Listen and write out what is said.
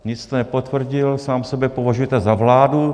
Nic jste nepotvrdil, sám sebe považujete za vládu.